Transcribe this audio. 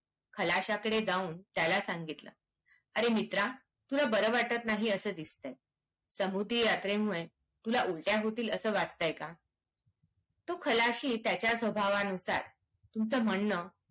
खलश्याकडे जाऊन त्याला सांगितलं अरे मित्रा तुला बार वाटत नाही असा दिसतय. समुद्री यात्रेमुळे तुला उलट्या होतील असा वाटतय का? तो खलाशी त्याच्या स्वभावानुसार तुमचं म्हणणं